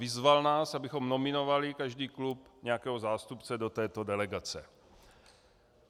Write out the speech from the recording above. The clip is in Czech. Vyzval nás, abychom nominovali každý klub nějakého zástupce do této delegace.